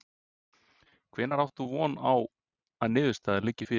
Hvenær átt þú von á að niðurstaða liggi fyrir?